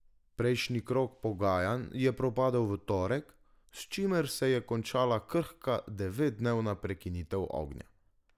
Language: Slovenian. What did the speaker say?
Prejšnji krog pogajanj je propadel v torek, s čimer se je končala krhka devetdnevna prekinitev ognja.